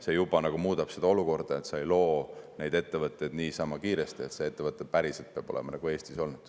See juba muudab olukorda, et sa ei loo neid ettevõtteid kiiresti niisama, see ettevõte päriselt peab olema Eestis olnud.